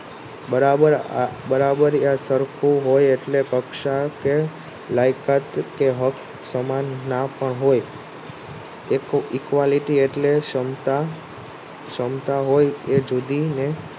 બરાબરીય સરખું હોય એટલે લાયકાત કે હક સમાન ના પણ હોય Equality એટલે સમતા હોય એ જુદી ને